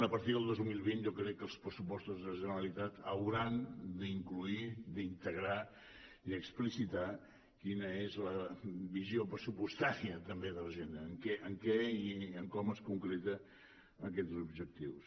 a partir del dos mil vint jo crec que els pressupostos de la generalitat hauran d’incloure d’integrar i explicitar quina és la visió pressupostària també de l’agenda en què i com es concreten aquests objectius